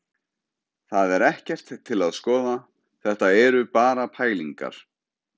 Það er ekkert til að skoða, þetta eru bara pælingar.